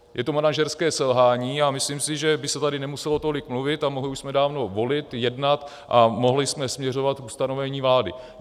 Je to manažerské selhání a myslím si, že by se tady nemuselo tolik mluvit a mohli jsme už dávno volit, jednat a mohli jsme směřovat k ustanovení vlády.